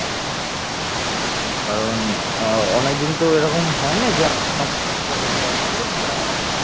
কারণ আহ অনেকদিন তো এরকম হয়নি যে আমরা বসে গল্প করেছি আর